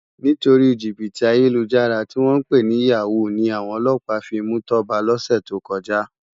Nitóri jibiti àyélújàrá tiwòn pé ni yàwú ni áwòn òlòpá fi mú Toba lòsé tókòjá